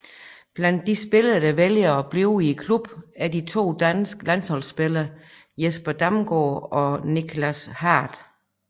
Blandt de spillere der vælger at blive i klubben er de to danske landsholdsspillere Jesper Damgaard og Nichlas Hardt